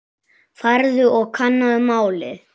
Farðu og kannaðu málið.